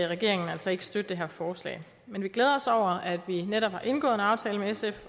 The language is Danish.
regeringen altså ikke støtte det her forslag men vi glæder os over at vi netop har indgået en aftale med sf